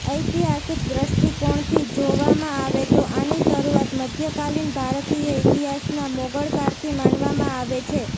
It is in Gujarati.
ઐતિહાસિક દ્રષ્ટિકોણથી જોવામાં આવે તો આની શરૂઆત મધ્યકાલીન ભારતીય ઇતિહાસના મોગળકાળથી માનવામાં આવે છે